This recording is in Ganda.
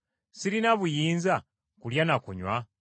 Sirina buyinza kulya na kunywa?